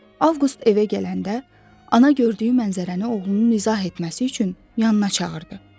Avqust evə gələndə, ana gördüyü mənzərəni oğlunun izah etməsi üçün yanına çağırdı.